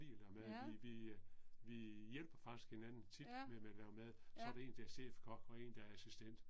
Ja. Ja, ja